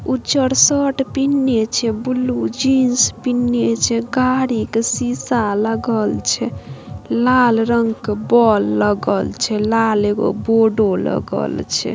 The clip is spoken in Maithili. उजर शर्ट पिहंले छे ब्लू जींस पिहंले छे गाड़ी ता सीसा लगल छे लाल रंग का बॉल लगल छे लाल एगो बोडो लगल छे ।